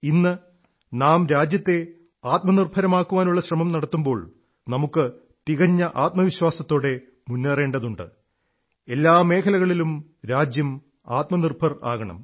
ഇന്ന് നാം രാജ്യത്തെ ആത്മനിർഭരമാക്കാനുള്ള ശ്രമം നടത്തുമ്പോൾ നമുക്ക് തികഞ്ഞ ആത്മവിശ്വാസത്തോടെ മുന്നേറേണ്ടതുണ്ട് എല്ലാ മേഖലകളിലും രാജ്യം ആത്മനിർഭർ ആകണം